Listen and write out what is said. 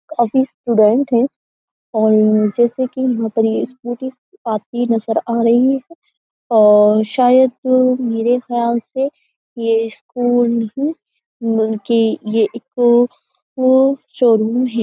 काफी स्टूडेंट है और जैसे कि यहाँ पर ये स्कूटी आती नजर आ रही है और शायद मेरे ख्याल से यह स्कूल नहीं बल्कि ये एक तो वो शोरूम है।